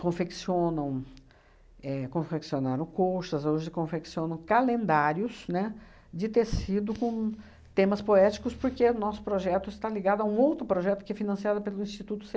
confeccionam éh confeccionaram colchas, hoje confeccionam calendários, né, de tecido com temas poéticos, porque o nosso projeto está ligado a um outro projeto que é financiado pelo Instituto